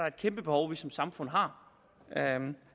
et kæmpe behov vi som samfund har